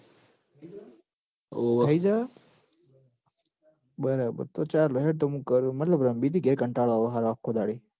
થઈ જહ બરાબર તો ચાલ હેડ તો મું કરું મતલબ રમ્બી તી ઘેર કંટાળો આવ હ આખો દાડે હી